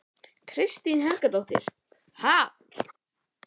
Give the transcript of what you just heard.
Kristín Helgadóttir: Ha?